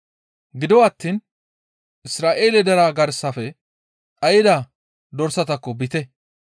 Gido attiin Isra7eele deraa garsafe dhayda dorsatakko biite.